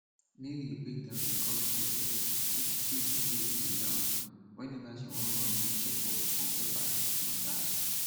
mary break down di cost process wey she still dey pay till now weneva she wan run do checkup on top her teeth mata